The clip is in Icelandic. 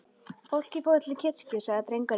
Fólkið fór til kirkju, sagði drengurinn.